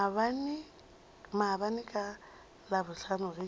maabane ka labohlano ge ke